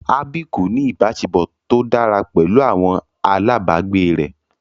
Abby kò ní ìbáṣepọ̀ tó dára pẹ̀lú àwọn alábàgbé rẹ̀.